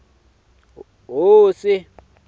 hosi